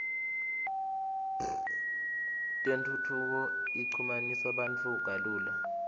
tentfutfuko ichumanisa bantfu kalula